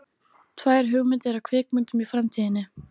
Tvær hugmyndir að kvikmyndum í framtíðinni.